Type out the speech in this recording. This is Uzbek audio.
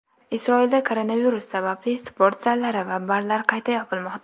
Isroilda koronavirus sababli sport zallari va barlar qayta yopilmoqda.